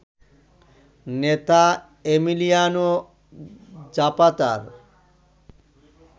নেতা এমিলিয়ানো জাপাতার